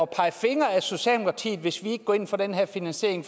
pege fingre af socialdemokratiet hvis vi ikke går ind for den her finansiering